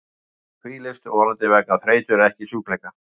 Fornmaður hvílist, vonandi vegna þreytu en ekki sjúkleika.